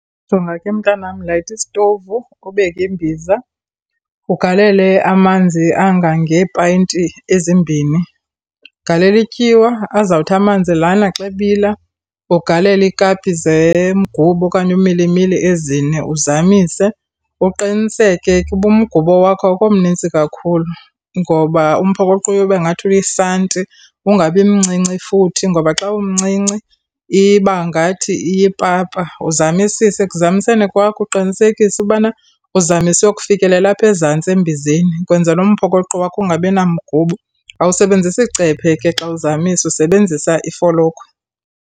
Jonga ke mntanam, layita isitovu, ubeke imbiza. Ugalele amanzi angangeepayinti ezimbini, ugaleli tyiwa. Azawuthi amanzi lana xa ebila, ugalele ikapi zemgubo okanye umilimili ezine, uzamise. Uqiniseke ke ubumgubo wakho awukho mnintsi kakhulu ngoba umphokoqo uyobe ngathi uyisanti. Ungabi mncinci futhi ngoba xa umncinci, ibangathi iyipapa. Uzamisise. Ekuzamiseni kwakho uqinisekise ubana uzamise uyokufikelela apha ezantsi embizeni, kwenzela umphokoqo wakho ungabinamgubo. Awusebenzisi cephe ke xa uzamisa, usebenzisa ifolokhwe.